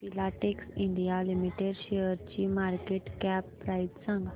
Filatex India limited शेअरची market cap price सांगा